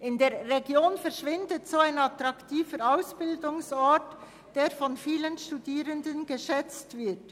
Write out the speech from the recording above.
In der Region verschwindet sonst ein attraktiver Ausbildungsort, der von vielen Studierenden geschätzt wird.